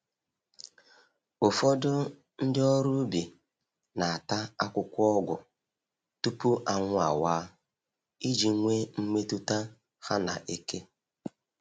Ụfọdụ ndị ọrụ ubi na-ata akwụkwọ ọgwụ tupu anwụ awaa, iji nwee mmetụta ha na eke